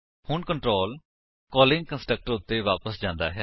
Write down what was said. ਹੁਣ control calling constructor ਉੱਤੇ ਵਾਪਸ ਜਾਂਦਾ ਹੈ